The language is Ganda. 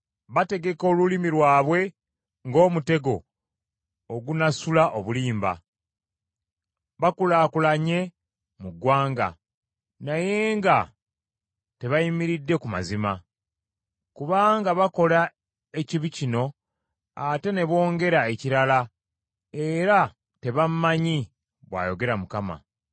“Bategeka olulimi lwabwe ng’omutego ogunasula obulimba; bakulaakulanye mu ggwanga naye nga tebayimiridde ku mazima, kubanga bakola ekibi kino ate ne bongera ekirala; era tebammanyi,” bw’ayogera Mukama .